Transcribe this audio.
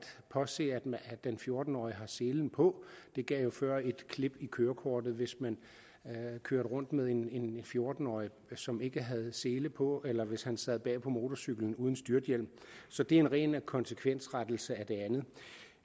påse at den fjorten årige har selen på det gav jo før et klip i kørekortet hvis man kørte rundt med en en fjorten årig som ikke havde sele på eller hvis han sad bag på motorcyklen uden styrthjem så det er en ren konsekvensrettelse af det andet